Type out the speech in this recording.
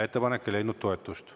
Ettepanek ei leidnud toetust.